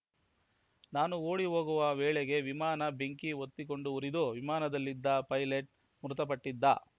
ನಾನು ಓಡಿ ಹೋಗುವ ವೇಳೆಗೆ ವಿಮಾನ ಬೆಂಕಿ ಹೊತ್ತಿಕೊಂಡು ಉರಿದು ವಿಮಾನದಲ್ಲಿದ್ದ ಪೈಲಟ್‌ ಮೃತಪಟ್ಟಿದ್ದ